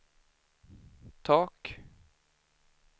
tak